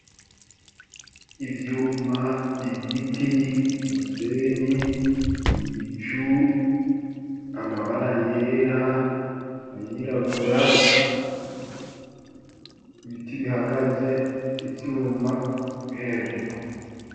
Ivyuma ,ibiti, umusenyi, ibicu ,amabara yera ,ayirabura ,ibiti bihagaze ivyuma biri hejuru.